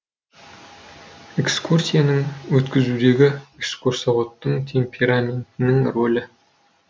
экскурсияның өткізудегі экскурсоводтың темпераментінің рөлі